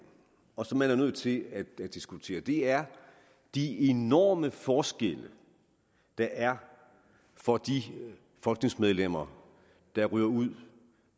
og som man er nødt til at diskutere er de enorme forskelle der er for de folketingsmedlemmer der ryger ud